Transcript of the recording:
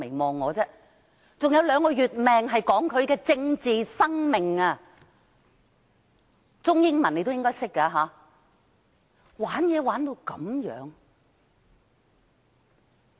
還有兩個月壽命是指他的政治生命，中英文你也應該懂得吧。